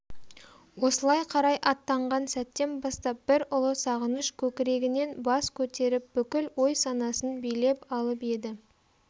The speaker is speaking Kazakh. осылай қарай аттанған сәттен бастап бір ұлы сағыныш көкірегінен бас көтеріп бүкіл ой-санасын билеп алып еді